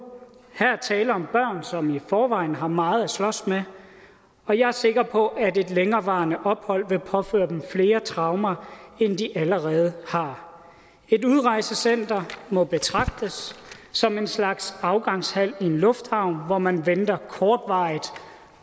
her er tale om børn som i forvejen har meget at slås med og jeg er sikker på at længerevarende ophold vil påføre dem flere traumer end de allerede har et udrejsecenter må betragtes som en slags afgangshal i en lufthavn hvor man venter kortvarigt